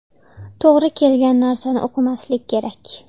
To‘g‘ri kelgan narsani o‘qimaslik kerak.